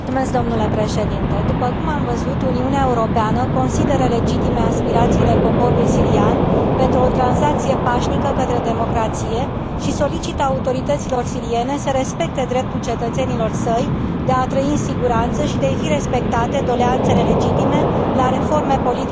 După cum am văzut, Uniunea Europeană consideră legitime aspirațiile poporului sirian pentru o tranziție pașnică către democrație și solicită autorităților siriene să respecte dreptul cetățenilor săi de a trăi în siguranță și de a i fi respectate doleanțele legitime la reforme politice și sociale.